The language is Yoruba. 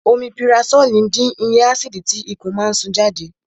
Omipurasólì dín iye ásìdì tí ikùn máa ń sún jáde